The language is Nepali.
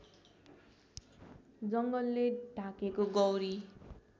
जङ्गलले ढाकेको गौरी